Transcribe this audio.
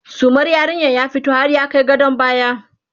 sumar yarinyar ya fito har ya Kai gadon baya